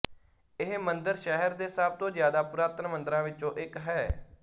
ਇਹ ਮੰਦਰ ਸ਼ਹਿਰ ਦੇ ਸਭ ਤੋਂ ਜਿਆਦਾ ਪੁਰਾਤਨ ਮੰਦਰਾਂ ਵਿੱਚੋਂ ਇੱਕ ਹੈ